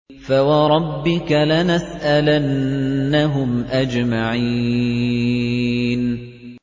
فَوَرَبِّكَ لَنَسْأَلَنَّهُمْ أَجْمَعِينَ